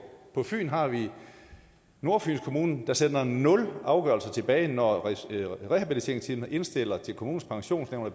på fyn har vi nordfyns kommune der sender nul afgørelser tilbage når rehabiliteringsteamet indstiller til kommunens pensionsnævn at